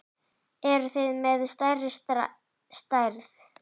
Eruð þið með stærri stærð?